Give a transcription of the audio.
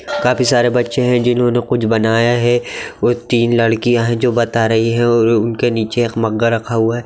काफी सारे बच्चे हैं जिन्होंने कुछ बनाया है | वह तीन लड़कियां हैं जो बता रही है उनके नीचे एक मग्गा रखा हुआ है।